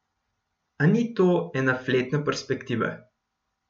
A ni to ena fletna perspektiva.